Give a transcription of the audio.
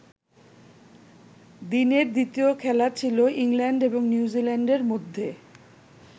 দিনের দ্বিতীয় খেলা ছিল ইংল্যান্ড এবং নিউজিল্যান্ডের মধ্যে।